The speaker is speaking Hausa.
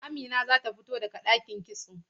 Amina zata fito daga ɗakin kitso.